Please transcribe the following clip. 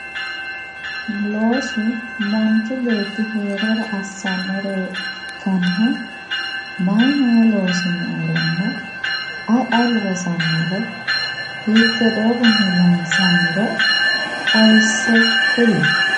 loosu manchi beetti heerara yee assannore ikkanna, mayi mayii loosi nooronna ayi ayi loosannoro? hiitte doogonni loonsanniro xawisse kuli.